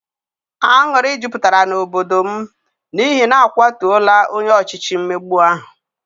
Anwụrụ jupụtara n'obodo n', n'ihi n'akwatora onye ọchịchị mmegbu ahu